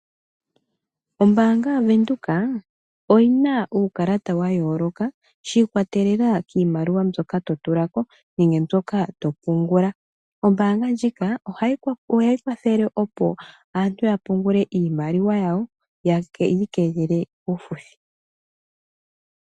Ombaanga yaVenduka iyina uukalata wa yooloka shiikwatelela kiimaliwa mbyoka totulako. Ohayi kwathele, opo aantu ya pungule iimaliwa yawo yo yiikelele kaafuthi.